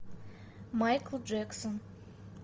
майкл джексон